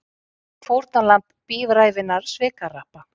Fórnarlamb bíræfinna svikahrappa